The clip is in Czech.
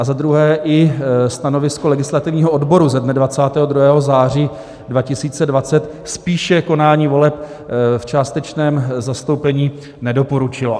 A za druhé i stanovisko legislativního odboru ze dne 22. září 2020 spíše konání voleb v částečném zastoupení nedoporučilo.